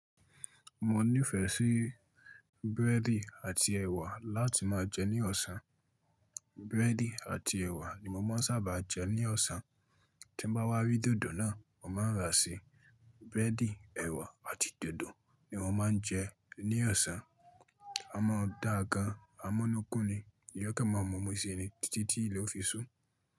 Mo nífẹ̀ẹ́ sí búrẹ́dì àti ẹ̀wà láti máa jẹ ní ọ̀sán. Búrẹ́dì àti ẹ̀wà ni mo máa ń sábà jẹ ní ọ̀sán. Tí bá wá rí dòdò náà, mo máa rà sí. Búrẹ́dì, ẹ̀wà àti dòdò ni mo máa ń jẹ ní ọ̀sán. Amó da gan, amọ́núkún ni, èèyàn kan mà mo mú sí i ni títí tí ilé ó fi sú.